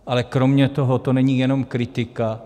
Ale kromě toho to není jenom kritika.